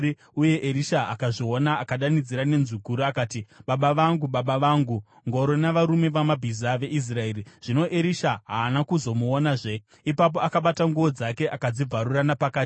Uye Erisha akazviona akadanidzira nenzwi guru akati, “Baba vangu! Baba vangu! Ngoro navarume vamabhiza veIsraeri!” Zvino Erisha haana kuzomuonazve. Ipapo akabata nguo dzake akadzibvarura napakati.